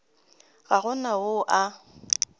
ga go na yo a